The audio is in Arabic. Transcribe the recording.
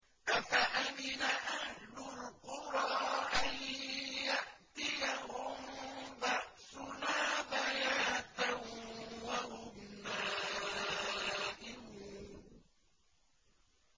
أَفَأَمِنَ أَهْلُ الْقُرَىٰ أَن يَأْتِيَهُم بَأْسُنَا بَيَاتًا وَهُمْ نَائِمُونَ